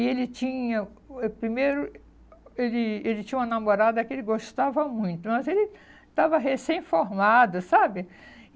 E ele tinha... Eh primeiro, ele ele tinha uma namorada que ele gostava muito, mas ele estava recém-formado, sabe?